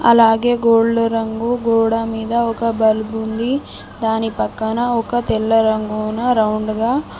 అలాగే గోల్డ్ రంగు గోడ మీద ఒక బల్బు ఉంది దాని పక్కన ఒక తెల్లరంగున రౌండ్ గా --